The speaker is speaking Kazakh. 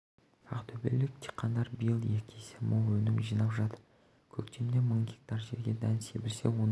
ақтөбелік диқандар биыл екі есе мол өнім жинап жатыр көктемде мың гектар жерге дән себілсе оның